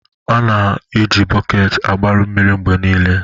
A ga-na eji bọket agbara mmiri mgbe niile.